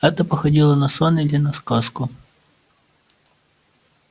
это походило на сон или на сказку